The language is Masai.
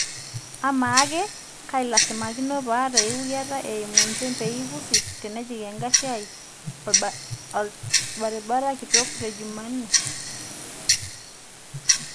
amaa ake kailasimakino paata euwuriata eimu inchembeie pusi tenejik engari ai oltabarabara kitoka le jumanne